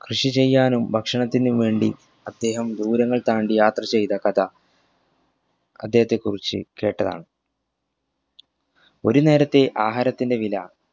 കൃഷി ചെയ്യാനും ഭക്ഷണത്തിനും വേണ്ടി അദ്ദേഹം ദൂരങ്ങൾ താണ്ടി യാത്ര ചെയ്ത കഥ അദ്ദേഹത്തെ കുറിച് കേട്ടതാണ് ഒരു നേരത്തെ ആഹാരത്തിൻറെ വില